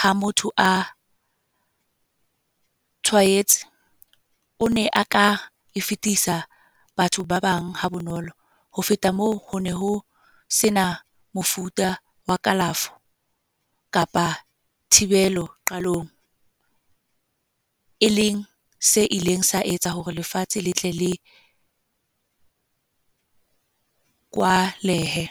ha motho a tshwaetse, o ne a ka e fetisa batho ba bang ha bonolo. Ho feta moo, ho ne ho sena mofuta wa kalafo kapa thibelo qalong. E leng se ileng sa etsa hore lefatshe le tle le kwalehe.